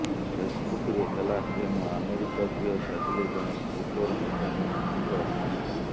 ଫେସବୁକରେ ହେଲା ପ୍ରେମ ଆମେରିକା ଝିଅ ସାଜିଲେ ଜଣେ ସ୍କୁଟର ମେକାନିକଙ୍କ ସ୍ତ୍ରୀ